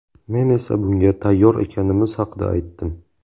Men esa bunga tayyor ekanimiz haqida aytdim.